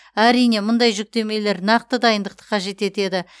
әрине мұндай жүктемелер нақты дайындықты қажет етеді